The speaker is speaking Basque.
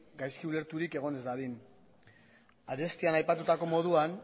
gaizki ulerturik egon ez dadin arestian aipatutako moduan